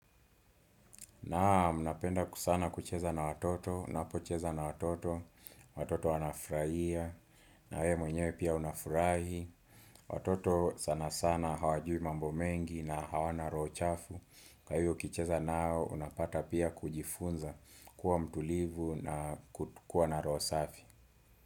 Naam napenda sana kucheza na watoto, napocheza na watoto, watoto wanafraia, na we mwenyewe pia unafurai, watoto sana sana hawajui mambo mengi na hawana roho chafu, kwa hiyo ukicheza nao unapata pia kujifunza kuwa mtulivu na kuwa na roho safi.